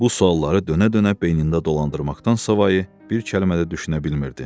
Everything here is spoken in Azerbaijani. Bu sualları dönə-dönə beynində dolandırmaqdansa savayı bir kəlmə də düşünə bilmirdi.